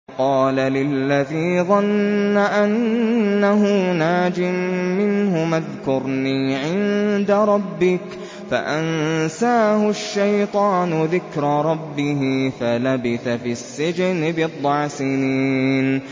وَقَالَ لِلَّذِي ظَنَّ أَنَّهُ نَاجٍ مِّنْهُمَا اذْكُرْنِي عِندَ رَبِّكَ فَأَنسَاهُ الشَّيْطَانُ ذِكْرَ رَبِّهِ فَلَبِثَ فِي السِّجْنِ بِضْعَ سِنِينَ